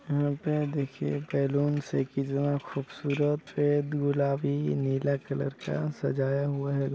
यहाँ पर देखिए बलून से कितना खुबसूरत गुलाबी नीला कलर का सजाया हुआ हैं।